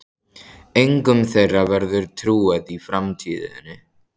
Engum þeirra verður trúað í framtíðinni.